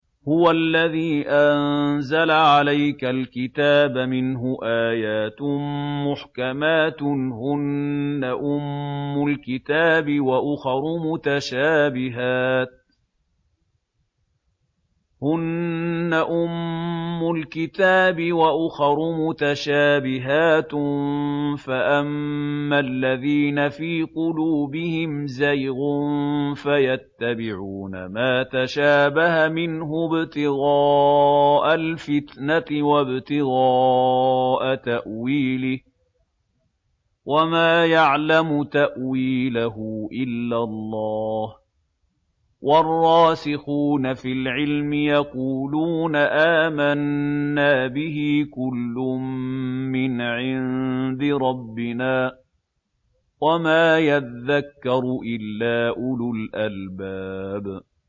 هُوَ الَّذِي أَنزَلَ عَلَيْكَ الْكِتَابَ مِنْهُ آيَاتٌ مُّحْكَمَاتٌ هُنَّ أُمُّ الْكِتَابِ وَأُخَرُ مُتَشَابِهَاتٌ ۖ فَأَمَّا الَّذِينَ فِي قُلُوبِهِمْ زَيْغٌ فَيَتَّبِعُونَ مَا تَشَابَهَ مِنْهُ ابْتِغَاءَ الْفِتْنَةِ وَابْتِغَاءَ تَأْوِيلِهِ ۗ وَمَا يَعْلَمُ تَأْوِيلَهُ إِلَّا اللَّهُ ۗ وَالرَّاسِخُونَ فِي الْعِلْمِ يَقُولُونَ آمَنَّا بِهِ كُلٌّ مِّنْ عِندِ رَبِّنَا ۗ وَمَا يَذَّكَّرُ إِلَّا أُولُو الْأَلْبَابِ